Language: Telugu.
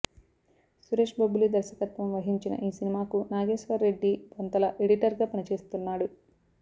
సురేష్ బొబ్బిలి దర్శకత్వం వహించిన ఈ సినిమాకు నాగేశ్వర రెడ్డి బొంతల ఎడిటర్ గా పనిచేస్తున్నాడు